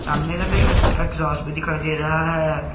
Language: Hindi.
सामने में एग्जास्ट भी दिखाई दे रहा है।